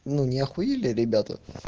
ну не ахуели ребята